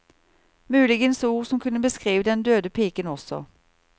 Muligens ord som kunne beskrive den døde piken også.